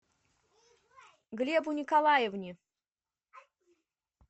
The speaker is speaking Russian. глебу николаевне